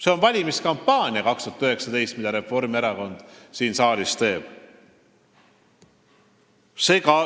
See on 2019. aasta valimiskampaania, mida Reformierakond siin saalis teeb.